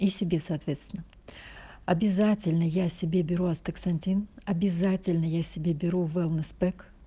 и себе соответственно обязательно я себе беру астаксантин обязательно я себе беру велнес пэк